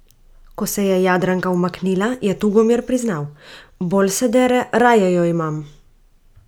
Ko se je Jadranka umaknila, je Tugomir priznal: "Bolj se dere, raje jo imam".